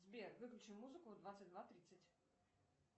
сбер выключи музыку в двадцать два тридцать